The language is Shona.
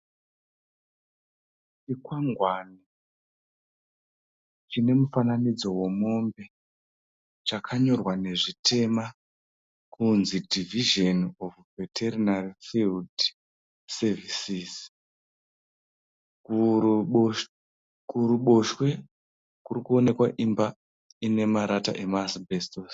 Chikwangwani chine mufananidzo wemombe. Chakanyorwa nezvitema kunzi "division of veterinary field services". Kuruboshwe kurikuoneka imba ine marata emasibhesitosi.